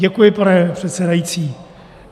Děkuji, pane předsedající.